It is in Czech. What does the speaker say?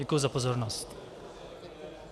Děkuji za pozornost.